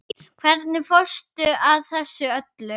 Hvernig fórstu að þessu öllu?